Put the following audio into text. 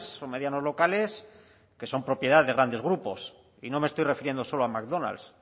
o medianos locales que son propiedad de grandes grupos y no me estoy refiriendo solo a mcdonalds